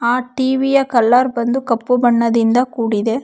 ಆ TV colour ಬಂದು ಕಪ್ಪು ಬಣ್ಣದಿಂದ ಕೂಡಿದೆ.